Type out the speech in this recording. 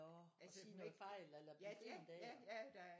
Nå at sige noget fejl eller blive grint af